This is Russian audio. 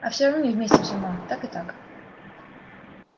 а всё равно не вместимся ма так и так